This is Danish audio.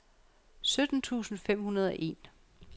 sytten tusind fem hundrede og en